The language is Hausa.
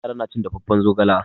Yara na cin dafaffen zogala.